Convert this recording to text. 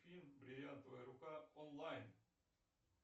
фильм бриллиантовая рука онлайн